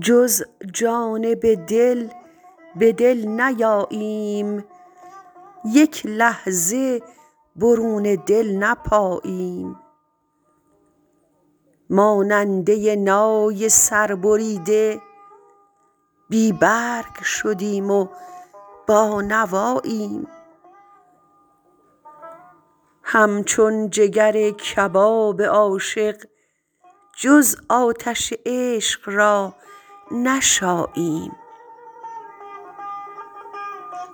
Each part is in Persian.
جز جانب دل به دل نیاییم یک لحظه برون دل نپاییم ماننده نای سربریده بی برگ شدیم و بانواییم همچون جگر کباب عاشق جز آتش عشق را نشاییم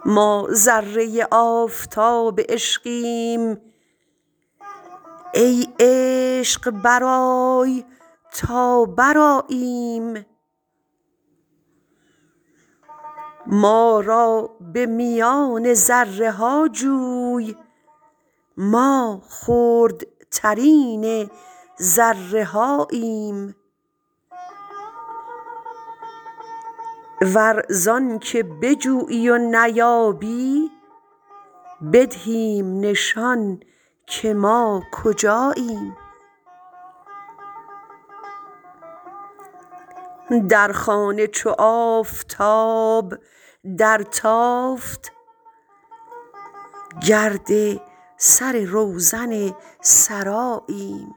ما ذره آفتاب عشقیم ای عشق برآی تا برآییم ما را به میان ذره ها جوی ما خردترین ذره هاییم ور زانک بجویی و نیابی بدهیم نشان که ما کجاییم در خانه چو آفتاب درتافت گرد سر روزن سراییم